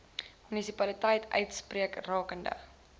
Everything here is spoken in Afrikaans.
munisipaliteit uitspreek rakende